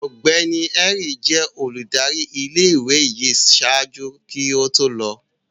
Ọgbẹni Henry jẹ óludari ìlé-ìwé yii ṣaaju ki o to lọ